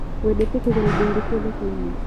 Wendete kũgũra indo irĩkũ thokoinĩ?